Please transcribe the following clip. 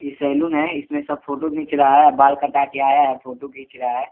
इ सैलून है इसमे सब फ़ोटो खिच रहा है बाल कटा के आया है फ़ोटो खिच रहा है।